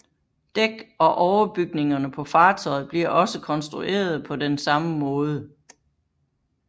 Dæk og overbygningerne på fartøjet bliver også konstruerede på den samme måde